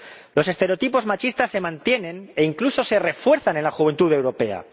Los estereotipos machistas se mantienen e incluso se refuerzan en la juventud europea.